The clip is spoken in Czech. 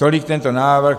Tolik tento návrh.